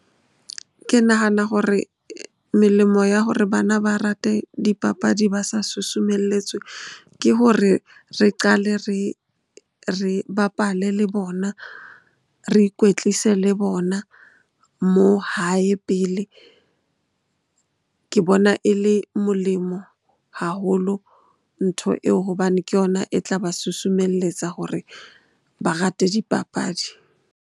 Ke nahana hore melemo ya hore bana ba rate dipapadi ba sa susumelletswe ke hore re qale re bapale le bona, re ikwetlise le bona moo hae pele. Ke bona e le molemo haholo ntho eo hobane ke yona e tla ba susumelletsa hore ba rate dipapadi.